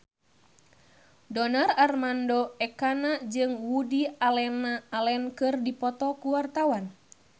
Donar Armando Ekana jeung Woody Allen keur dipoto ku wartawan